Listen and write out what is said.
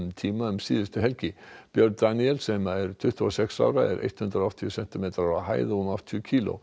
tíma um síðustu helgi björn Daníel sem er tuttugu og sex ára er hundrað og áttatíu sentimetrar á hæð og um áttatíu kílógrömm